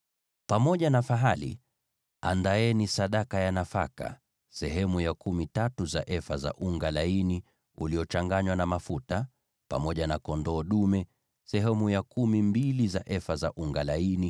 Pamoja na fahali, andaeni sadaka ya nafaka sehemu ya kumi tatu za efa za unga laini uliochanganywa na mafuta; pamoja na kondoo dume, sehemu ya kumi mbili za efa za unga laini;